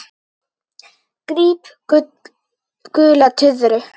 Gríp gula tuðru.